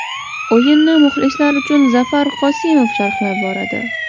O‘yinni muxlislar uchun Zafar Qosimov sharhlab boradi.